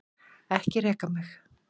Ekki reka mig.